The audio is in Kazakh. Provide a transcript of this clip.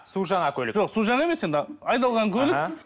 су жаңа көлік жоқ су жаңа емес енді айдалған көлік